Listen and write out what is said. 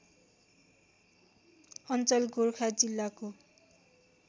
अञ्चल गोरखा जिल्लाको